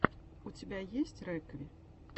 у тебя есть рекви